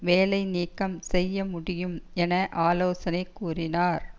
வேலை நீக்கம் செய்ய முடியும் என ஆலோசனை கூறினார்